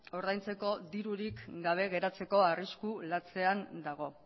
ordaintzeko dirurik gabe geratzeko arrisku latzean dago